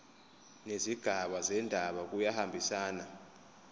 nezigaba zendaba kuyahambisana